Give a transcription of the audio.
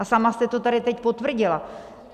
A sama jste to tady teď potvrdila.